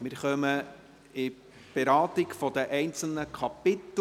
Wir kommen zur Beratung der einzelnen Kapitel.